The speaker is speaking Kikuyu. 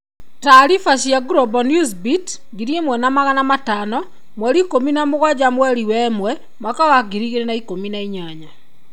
Taariba cia Global Newsbeat 1500 17/01/2018.